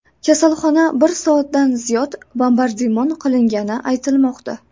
Kasalxona bir soatdan ziyod bombardimon qilingani aytilmoqda.